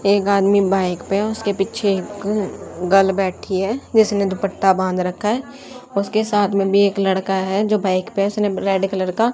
एक आदमी बाइक पे उसके पीछे एक ग्रल बैठी है जिसने दुपट्टा बांध रखा है उसके साथ में भी एक लड़का है जो बाइक पर उसने रेड कलर का --